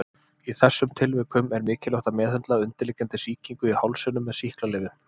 Í þessum tilvikum er mikilvægt að meðhöndla undirliggjandi sýkingu í hálsinum með sýklalyfjum.